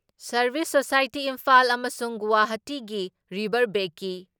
service society Imphal ꯑꯃꯁꯨꯡ ꯒꯨꯋꯥꯍꯥꯇꯤꯒꯤ ꯔꯤꯚꯔꯕꯦꯀꯤ